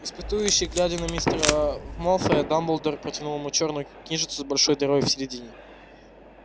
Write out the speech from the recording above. испытующе глядя на мистера малфоя дамблдор протянул ему чёрную книжицу с большой дырой в середине